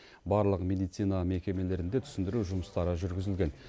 барлық медицина мекемелерінде түсіндіру жұмыстары жүргізілген